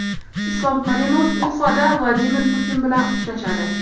Islom Karimov Ufada Vladimir Putin bilan uchrashadi.